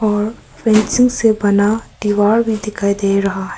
और फेंसिंग से बना दीवार भी दिखाई दे रहा है।